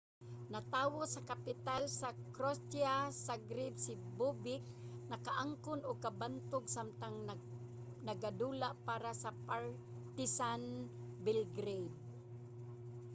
natawo sa kapital sa croatia zagreb si bobek nakaangkon og kabantog samtang nagadula para sa partizan belgrade